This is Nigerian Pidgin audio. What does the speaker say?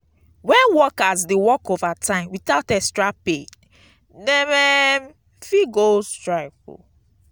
when workers dey work overtime without extra pay dem um fit go strike.